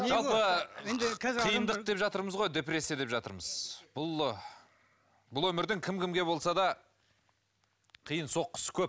жалпы қиындық деп жатырмыз ғой депрессия деп жатырмыз бұл бұл өмірдің кім кімге болса да қиын соққысы көп